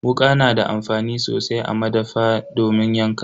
Wuka na da amfani sosai a madafa domin yanka.